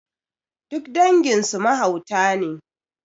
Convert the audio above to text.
Duk dangin su mahauta ne